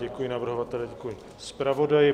Děkuji navrhovateli, děkuji zpravodaji.